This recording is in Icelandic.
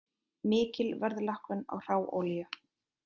Mikil verðlækkun á hráolíu